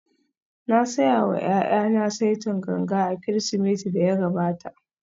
Na saya wa ’ya’yana saitin ganga a Kirsimetin da ya gabata